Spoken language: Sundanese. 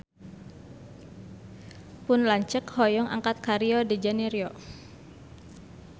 Pun lanceuk hoyong angkat ka Rio de Janairo